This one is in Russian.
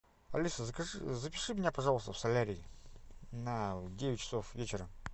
алиса закажи запиши меня пожалуйста в солярий на девять часов вечера